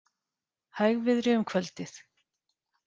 Hægviðri um kvöldið